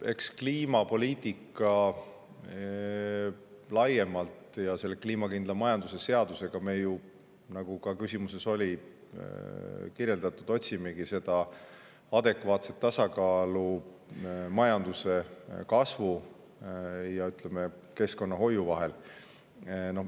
Eks me ju kliimapoliitika abil laiemalt ja selle kliimakindla majanduse seaduse abiga, nagu ka küsimuses oli kirjeldatud, otsimegi seda adekvaatset tasakaalu majanduskasvu ja keskkonnahoiu vahel.